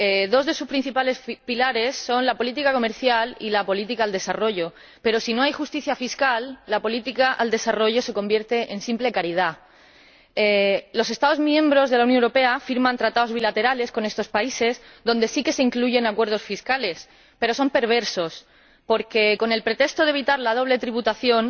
Dos de sus principales pilares son la política comercial y la política de desarrollo, pero si no hay justicia fiscal, la política de desarrollo se convierte en simple caridad. Los Estados miembros de la Unión Europea firman tratados bilaterales con estos países en los sí que se incluyen acuerdos fiscales, pero son perversos porque, con el pretexto de evitar la doble tributación,